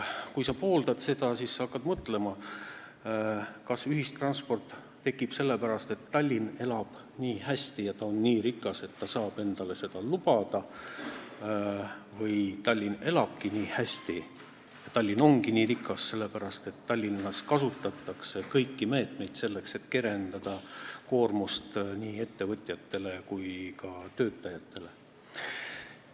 Kui sa seda pooldad, siis sa hakkad mõtlema, kas tasuta ühistransport tekib sellepärast, et Tallinn elab nii hästi ja ta on nii rikas, et ta saab endale seda lubada, või Tallinn elabki nii hästi, Tallinn ongi nii rikas sellepärast, et Tallinnas kasutatakse kõiki meetmeid, selleks et kergendada nii ettevõtjate kui ka töötajate koormust.